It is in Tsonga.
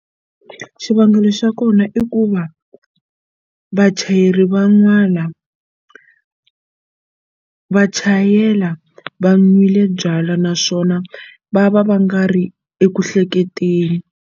Xivangelo xa kona i ku va vachayeri van'wana va chayela va nwile byalwa naswona va va va nga ri eku hleketeni.